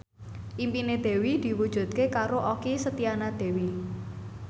impine Dewi diwujudke karo Okky Setiana Dewi